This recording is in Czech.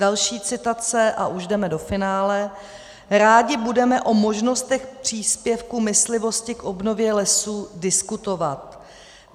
Další citace, a už jdeme do finále: "'Rádi budeme o možnostech příspěvku myslivosti k obnově lesů diskutovat.